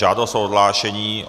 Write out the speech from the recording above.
Žádost o odhlášení.